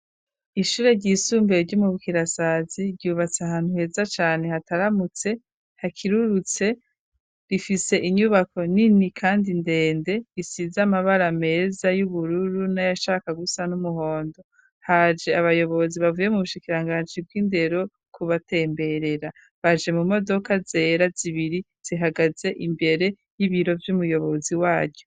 Ishure ry'isumbeye ryi Bukirasazi ryubatse ahantu heza cane hataramutse hakirurutse rifise inyubako nini kandi ndende isize amabara meza y'ubururu nayashaka gusa n'umuhondo, haje abayobozi bavuye mu bushikirangansi bw'indero kubatemberera, baje mu modoka zera zibiri zihagaze imbere y'ibiro vy'umuyobozi waryo.